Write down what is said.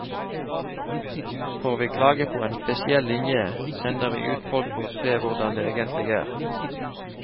Får vi klage på en spesiell linje, sender vi ut folk for å se hvordan det egentlig er.